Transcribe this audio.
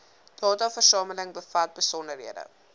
dataversameling bevat besonderhede